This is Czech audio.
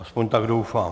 Aspoň tak doufám.